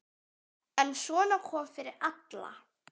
En svona kom fyrir alla.